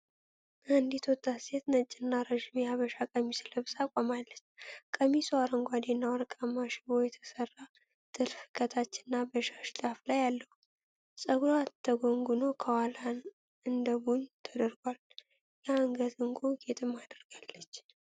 አንዲት ወጣት ሴት ነጭና ረዥም የሐበሻ ቀሚስ ለብሳ ቆማለች። ቀሚሱ አረንጓዴና ወርቃማ ሽቦ የተሠራ ጥልፍ ከታች እና በሻሽ ጫፍ ላይ አለው። ፀጉሯ ተጎንጉኖ ከኋላዋ እንደ ቡን ተደርጓል፤ የአንገት ዕንቁ ጌጥም አድርጋለች።